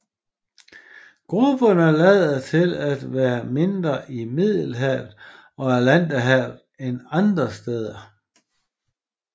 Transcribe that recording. Grupperne lader til at være mindre i Middelhavet og Atlanterhavet end andre steder